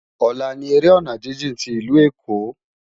Òlá ni éré òná jijin ti Ilú Ékó